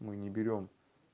мы не берём